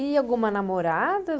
E alguma namorada?